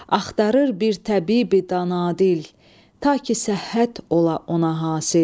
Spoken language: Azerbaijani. Axtarır bir təbibi dana dil, ta ki səhhət ola ona hasil.